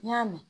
N y'a mɛn